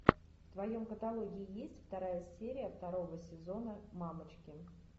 в твоем каталоге есть вторая серия второго сезона мамочки